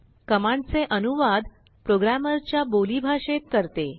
कमांडचे अनुवाद प्रोग्रामरच्याबोली भाषेत करते